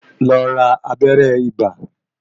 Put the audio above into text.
Lọ ra abẹ́rẹ́ ibà.